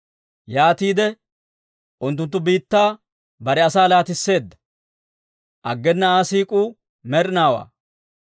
Yaatiide unttunttu biittaa bare asaa laatisseedda; aggena Aa siik'uu med'inaawaa.